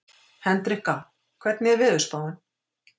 Hendrikka, hvernig er veðurspáin?